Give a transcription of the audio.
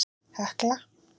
Hekla